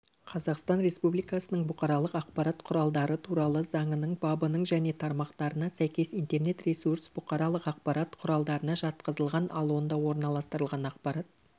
қазақстан республикасының бұқаралық ақпарат құралдары туралы заңының бабының және тармақтарына сәйкес интернет-ресурс бұқаралық ақпарат құралдарына жатқызылған ал онда орналастырылған ақпарат